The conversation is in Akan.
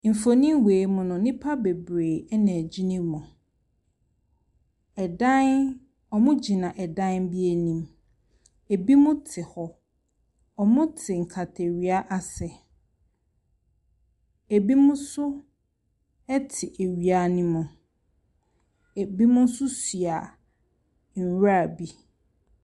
Mfonin wei mu no, nnipa bebree na ɛgyina mu. Dan wɔgyina dan bi anim, binom te hɔ, wɔte nkatawia ase, binom nso te awia ne mu, binom nso soa nwura bi.